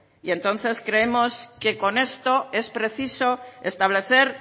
entonces creemos que con esto es preciso establecer